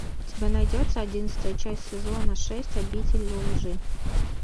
у тебя найдется одиннадцатая часть сезона шесть обитель лжи